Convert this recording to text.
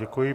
Děkuji.